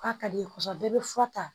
K'a ka d'i ye kosɛbɛ bɛɛ bɛ fura ta